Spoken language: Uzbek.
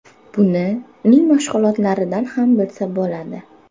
Buni uning mashg‘ulotlaridan ham bilsa bo‘ladi.